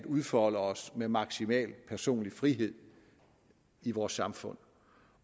udfolde os med maksimal personlig frihed i vores samfund